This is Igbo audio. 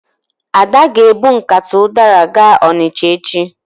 Ada ga-ebu nkata ụdara gaa Ọnịcha echi.